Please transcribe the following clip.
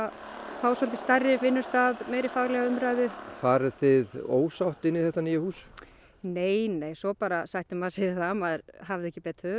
fá svolítið stærri vinnustað meiri faglega umræðu farið þið ósátt inn í þetta nýja hús nei nei svo bara sættir maður sig við það að maður hafði ekki betur